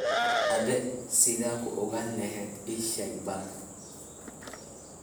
Abe sidha kuoganlhy iisheg bal.